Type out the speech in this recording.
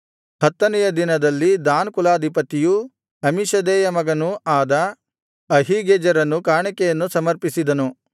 ಹತ್ತನೆಯ ದಿನದಲ್ಲಿ ದಾನ್ ಕುಲಾಧಿಪತಿಯೂ ಅಮ್ಮೀಷದ್ದೈಯ ಮಗನೂ ಆದ ಅಹೀಗೆಜೆರನು ಕಾಣಿಕೆಯನ್ನು ಸಮರ್ಪಿಸಿದನು